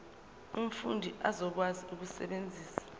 umfundi uzokwazi ukusebenzisa